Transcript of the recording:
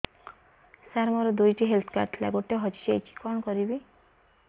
ସାର ମୋର ଦୁଇ ଟି ହେଲ୍ଥ କାର୍ଡ ଥିଲା ଗୋଟେ ହଜିଯାଇଛି କଣ କରିବି